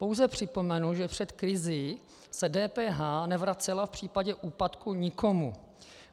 Pouze připomenu, že před krizí se DPH nevracela v případě úpadku nikomu.